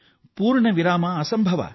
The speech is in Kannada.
ಪೂರ್ಣ ವಿರಾಮ ಅಸಂಭವ